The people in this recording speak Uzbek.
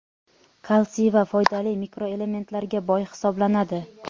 kalsiy va foydali mikroelementlarga boy hisoblanadi.